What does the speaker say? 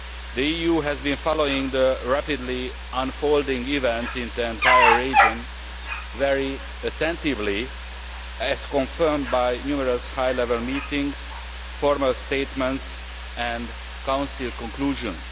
The EU has been following the rapidly unfolding events in the entire region very attentively, as confirmed by numerous high level meetings, formal statements and Council conclusions.